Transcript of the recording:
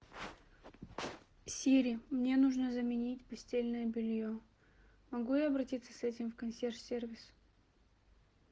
сири мне нужно заменить постельное белье могу я обратиться с этим в консьерж сервис